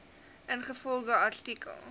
ingevolge artikel